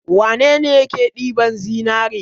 Wane ne yake ɗiban zinzre?